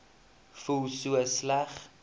voel so sleg